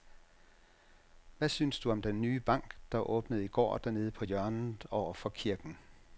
Hvad synes du om den nye bank, der åbnede i går dernede på hjørnet over for kirken?